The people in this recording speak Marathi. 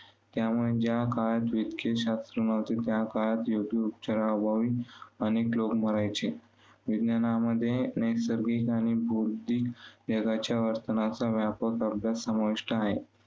त्यामुळे ज्या काळात शास्त्र नव्हते, काळात अभावी अनेक लोक मरायचे. विज्ञानामध्ये नैसर्गिक आणि बौद्धिक वेगाच्या वर्तनाचा व्यापक अभ्यास समाविष्ठ आहे.